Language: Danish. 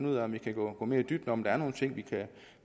ud af om vi kan gå mere i dybden om der er nogle ting vi kan